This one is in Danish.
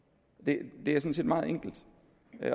det er sådan set meget enkelt